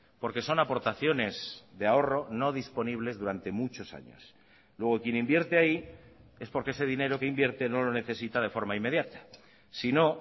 porque son aportaciones de ahorro no disponibles durante muchos años luego quien invierte ahí es porque ese dinero que invierte no lo necesita de forma inmediata si no